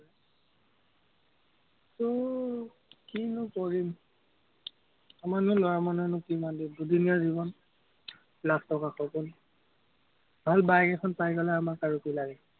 আহ কিনো কৰিম। কিমাননো ল'ৰা মানুহেনো কিমান দিন, দুদিনীয়া জীৱন। লাখ টকাৰ সপোন, ভাল bike এখন পাই গলে, আমাক আৰু কি লাগে।